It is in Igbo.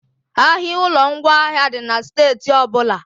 Ahịa ụlọ ngwaahịa dị na steeti ọbụla